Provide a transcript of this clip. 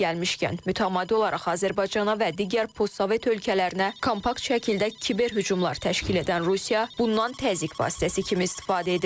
Yeri gəlmişkən, mütəmadi olaraq Azərbaycana və digər postsovet ölkələrinə kompakt şəkildə kiber hücumlar təşkil edən Rusiya, bundan təzyiq vasitəsi kimi istifadə edib.